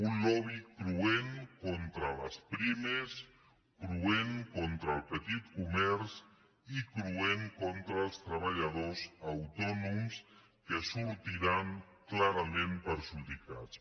un lobby cruent contra les pimes cruent contra el petit comerç i cruent contra els treballadors autònoms que en sortiran clarament perjudicats